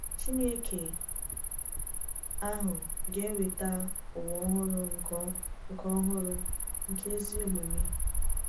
Chineke ahụ ga-eweta ụwa ọhụrụ nke ọhụrụ nke ezi omume.